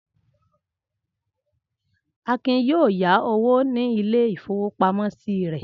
Akin yóò ya owó ní ilé-ìfowópamọ́sí rẹ̀.